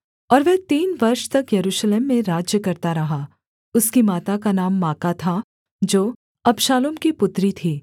और वह तीन वर्ष तक यरूशलेम में राज्य करता रहा उसकी माता का नाम माका था जो अबशालोम की पुत्री थीः